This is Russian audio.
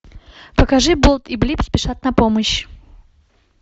покажи болт и блип спешат на помощь